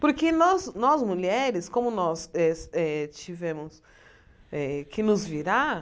Porque nós nós mulheres, como nós eh eh tivemos eh que nos virar,